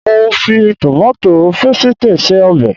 Mo fi tòmátò pésìtì se ọbẹ̀